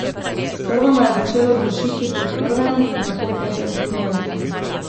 Sprva me je začelo dušiti po prvem, nato petem kilometru.